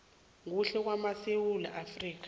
kuhle kwamasewula afrika